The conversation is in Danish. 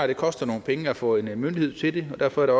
det koster nogle penge at få en myndighed til det og derfor er